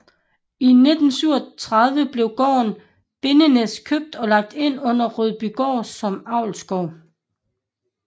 I 1937 blev gården Bindernæs købt og lagt ind under Rødbygård som avlsgård